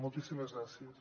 moltíssimes gràcies